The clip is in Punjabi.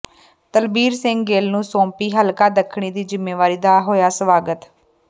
ਤਲਬੀਰ ਸਿੰਘ ਗਿੱਲ ਨੂੰ ਸੌਂਪੀ ਹਲਕਾ ਦੱਖਣੀ ਦੀ ਜਿੰਮੇਵਾਰੀ ਦਾ ਹੋਇਆ ਸਵਾਗਤ